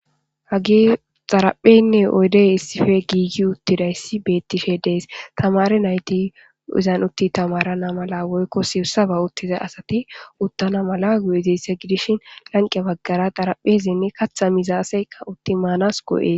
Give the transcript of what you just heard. hagey xarapheynne oydey issife giigi uttidayssi beettishe dees tamare nayti uzanutti tamarana mala woykko sirsaba uttiza asati uttana mala gu7iziysse gidishin lanqe baggara xaraphezinne katha mizaaseykka uttimanas goo7ee